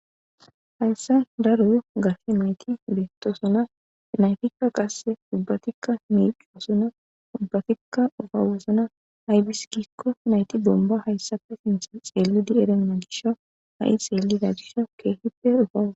Haysan daro gashe nayti beetosona naytika wase ubbatika miicosona ubbatika ufayosona aazis giko nayti bomba xeelidi erena gishaw ha'i xeelida gishaw keehippe uffayetees.